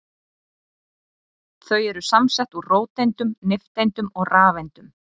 Þau eru samsett úr róteindum, nifteindum og rafeindum.